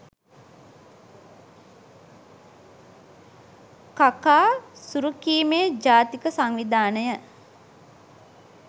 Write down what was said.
කකා සුරුකීමේ ජාතික සංවිධානය